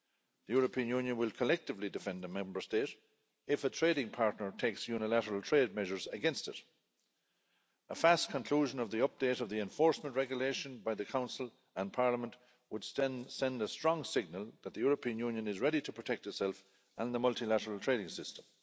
The European Union will collectively defend a Member State if a trading partner takes unilateral trade measures against it. A fast conclusion of the update of the enforcement regulation by the Council and Parliament would send a strong signal that the European Union is ready to protect itself and the multilateral trading system.